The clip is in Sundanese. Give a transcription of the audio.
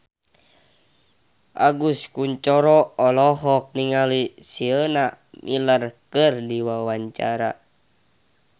Agus Kuncoro olohok ningali Sienna Miller keur diwawancara